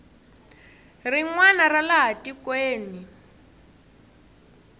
rin wana ra laha tikweni